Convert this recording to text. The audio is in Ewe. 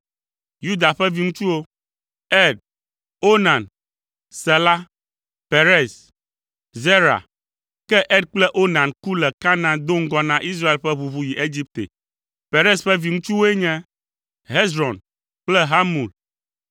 Yuda ƒe viŋutsuwo: Er, Onan, Sela, Perez, Zera. (Ke Er kple Onan ku le Kanaan do ŋgɔ na Israel ƒe ʋuʋu yi Egipte.) Perez ƒe viŋutsuwoe nye: Hezron kple Hamul.